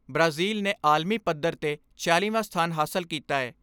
Brazil ਨੇ ਆਲਮੀ ਪੱਧਰ ਤੇ ਛਿਆਲੀ ਵਾਂ ਸਥਾਨ ਹਾਸਲ ਕੀਤਾ ਏ।